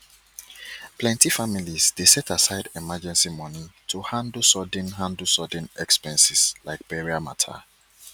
plenty families dey set aside emergency money to handle sudden handle sudden expenses like burial matter